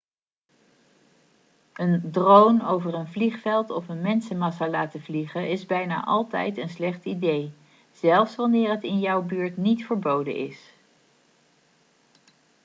een drone over een vliegveld of mensenmassa laten vliegen is bijna altijd een slecht idee zelfs wanneer het in jouw buurt niet verboden is